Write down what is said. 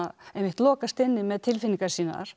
einmitt lokast inni með tilfinningar sínar